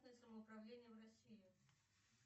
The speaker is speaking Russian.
самоуправление в россии